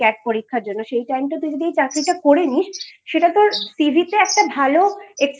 পরীক্ষার জন্য সেই Timeটা যদি তুই এই চাকরিটা করে নিস্ সেটা তোরCV তে একটা ভালো extra